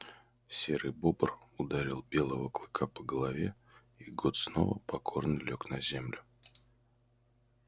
серый бобр ударил белого клыка по голове и гот снова покорно лёг на землю